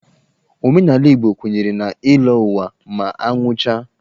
Omenala Igbo kwenyere na ịlọ ụwa ma a nwụchaa.